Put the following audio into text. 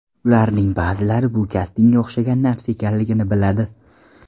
Ularning ba’zilari bu kastingga o‘xshagan narsa ekanligini biladi.